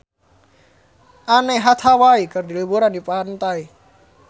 Anne Hathaway keur liburan di pantai